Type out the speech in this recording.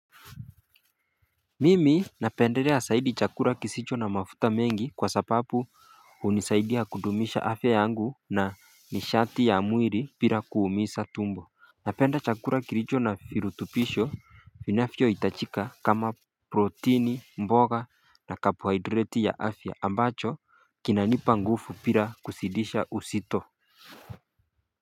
Mimi napendelea zaidi chakula kisicho na mafuta mengi kwa sababu hunisaidia kudumisha afya yangu na nishati ya mwili bila kuumiza tumbo Napenda chakula kilicho na virutubisho vinavyo hitachika kama protini mboga na carbohydrati ya afya ambacho kinanipa nguvu bila kusidisha uzito.